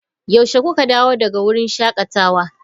Yaushe kuka dawo daga wurin shakatawa?